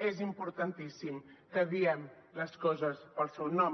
és importantíssim que diem les coses pel seu nom